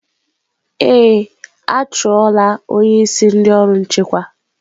Ee, a chụọ la onye isi ndị ọrụ nchekwa.